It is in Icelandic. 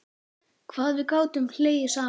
Hvað við gátum hlegið saman.